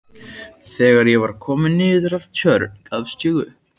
Þegar ég var kominn niður að Tjörn gafst ég upp.